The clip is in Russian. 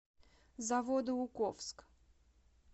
заводоуковск